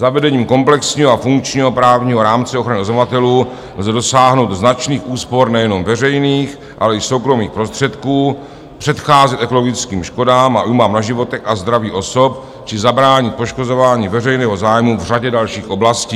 Zavedením komplexního a funkčního právního rámce ochrany oznamovatelů lze dosáhnout značných úspor nejenom veřejných, ale i soukromých prostředků, předcházet ekologickým škodám a újmám na životech a zdraví osob či zabránit poškozování veřejného zájmu v řadě dalších oblastí.